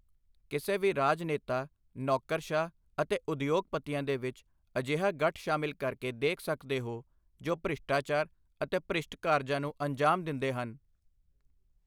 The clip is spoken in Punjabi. ਕਿਸੇ ਵੀ ਰਾਜ ਨੇਤਾ ਨੌਕਰਸ਼ਾਹ ਅਤੇ ਉਦਯੋਗਪਤੀਆਂ ਦੇ ਵਿੱਚ ਅਜਿਹਾ ਗਠ ਸ਼ਾਮਿਲ ਕਰਕੇ ਦੇਖ ਸਕਦੇ ਹੋ, ਜੋ ਭ੍ਰਿਸ਼ਟਾਚਾਰ ਅਤੇ ਭ੍ਰਿਸ਼ਟ ਕਾਰਜਾਂ ਨੂੰ ਅੰਜ਼ਾਮ ਦਿੰਦੇ ਹਨ।